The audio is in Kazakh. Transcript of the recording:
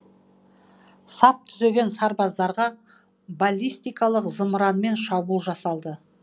сап түзеген сарбаздарға баллистикалық зымыранмен шабуыл жасалды